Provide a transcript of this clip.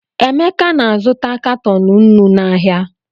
Emeka na-azụta katọn nnu n’ahịa.